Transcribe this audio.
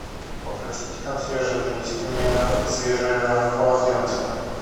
попросите консьержа принести мне свежее полотенце